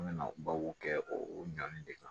An bɛna babu kɛ o ɲani de kan